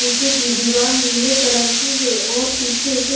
पीछे की दीवाल नीले कलर की है और पीछे एक--